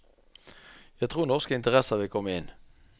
Jeg tror norske interesser vil komme inn.